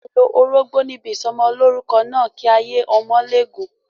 A lo orógbó níbi ìsọmọlórúkọ náà, kí ayé ọmọ lè gùn.